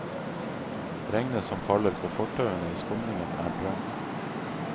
Regnet som faller på fortauene i skumringen er drøm.